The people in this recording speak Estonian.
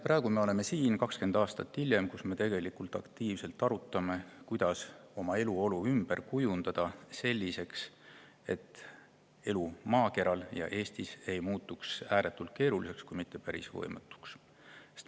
Näete, me oleme siin praegu, 20 aastat hiljem, ja me aktiivselt arutame, kuidas oma eluolu ümber kujundada selliseks, et elu maakeral ja Eestis ei muutuks ääretult keeruliseks või mitte päris võimatuks.